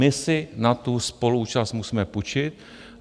My si na tu spoluúčast musíme půjčit.